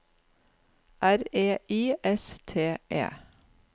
R E I S T E